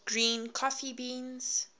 green coffee beans